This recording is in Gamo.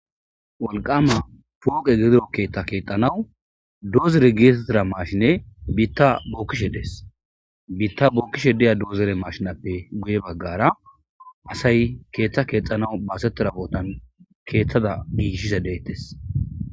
Wolkama pooke gido keeththa keexanaw dozere getetida mashine biita bookishe de7es. Biita bookishe diya dozere mashinepe guye bagara asay ketha keexanaw basetiza bootan keethaza gigisishsh betees.